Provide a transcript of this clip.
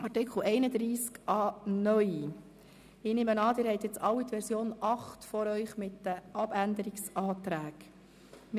Ich nehme an, Sie haben alle die Version 8 der Abänderungsanträge vor sich.